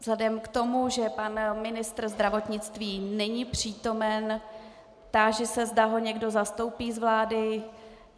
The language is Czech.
Vzhledem k tomu, že pan ministr zdravotnictví není přítomen, táži se, zda ho někdo zastoupí z vlády.